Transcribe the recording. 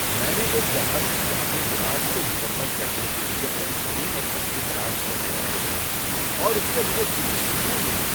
میں نے ایک گاہک کی اپنے لباس کو مکمل کرنے کے لیے بہترین ایکسیسری تلاش کرنے میں مدد کی اور اس سے مجھے دلی سکون ملا۔